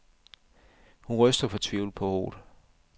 Hun ryster fortvivlet på hovedet.